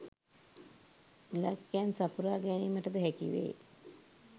ඉලක්කයන් සපුරා ගැනීමටද හැකි වේ